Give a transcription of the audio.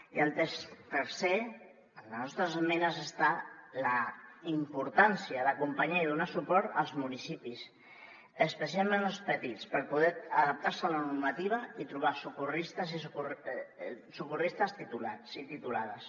i el tercer en les nostres esmenes està la importància d’acompanyar i donar suport als municipis especialment els petits per poder adaptar se a la normativa i trobar socorristes titulats i titulades